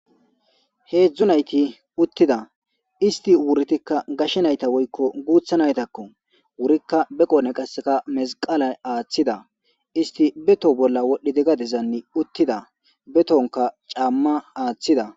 Hedzdzu nayti uttida. Isti wuritikka gashe nayta woykko guuththa naytakko. Wurikka be qiodhen mesiqela aaththida. Isti be toho bolla wodhdhidi gadezan uttida. Be tohonkka caamma aaththida.